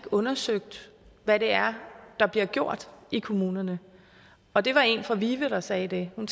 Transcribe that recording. undersøgt hvad det er der bliver gjort i kommunerne og det var en fra vive der sagde det hun